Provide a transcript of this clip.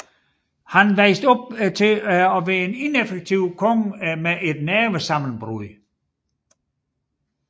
Han voksede op til at være en ineffektiv konge med nervesammenbrud